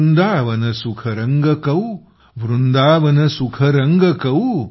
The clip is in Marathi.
वृंदावन सुख रंग कौ वृंदावन सुख रंग कौ